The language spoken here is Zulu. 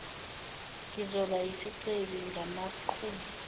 ngizoba yisicebi ngamaqhuzu